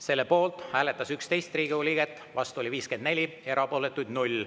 Selle poolt hääletas 11 Riigikogu liiget, vastu oli 54, erapooletuid 0.